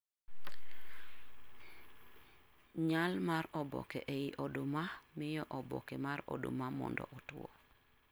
Nyal mar oboke ei oduma miyo oboke mar oduma mondo otwo